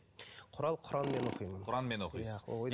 құрал құранмен оқимын құранмен оқисыз